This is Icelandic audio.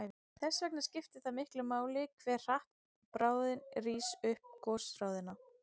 Þess vegna skiptir það miklu hve hratt bráðin rís upp gosrásina.